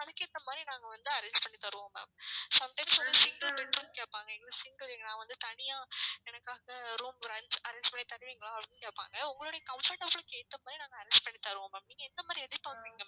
அதுக்கு ஏத்த மாதிரி நாங்க வந்து arrange பண்ணி தருவோம் ma'am sometimes வந்து single bed room கேட்பாங்க எனக்கு single நான் வந்து தனியா எனக்காக room brunch arrange பண்ணி தருவிங்களா அப்படினு கேட்பாங்க உங்களுடைய comfortable க்கு ஏத்த மாதிரி நாங்க arrange பண்ணி தருவோம் ma'am நீங்க எந்த மாதிரி எதிர்பார்க்கிறீங்க ma'am